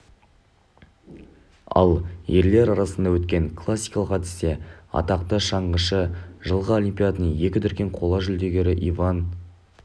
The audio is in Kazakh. ал ерлер арасында өткен класикалық әдісте атақты шаңғышы жылғы олимпиаданың екі дүркін қола жүлдегері иван